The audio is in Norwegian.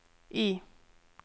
I